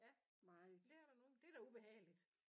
Ja men det er der nogen det er da ubehageligt